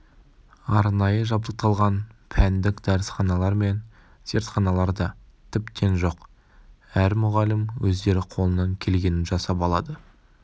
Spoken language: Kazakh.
арнайы жабдықталған пәндік дәрісханалар мен зертханалар да тіптен жоқ әр мұғалім өздері қолынан келгенін жасап алады